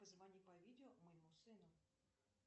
позвони по видео моему сыну